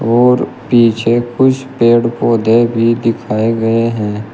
और पीछे कुछ पेड़ पौधे भी दिखाये गए है।